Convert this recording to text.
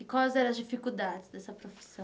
E quais eram as dificuldades dessa profissão?